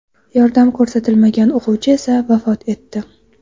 Yordam ko‘rsatilmagan o‘quvchi esa vafot etdi.